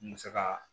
N bɛ se ka